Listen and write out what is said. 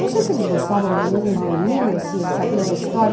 Não sei se eles gostavam mesmo de mim, ou se eles sabiam a história.